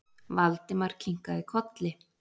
Valdimar kinkaði kolli.